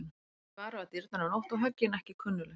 Það er barið á dyrnar um nótt og höggin ekki kunnugleg.